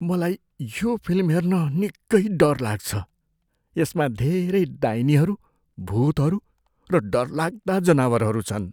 मलाई यो फिल्म हेर्न निकै डर लाग्छ। यसमा धेरै डाइनीहरू, भुतहरू र डरलाग्दा जनावरहरू छन्।